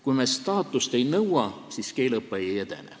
Kui me staatust ei nõua, siis keeleõpe ei edene.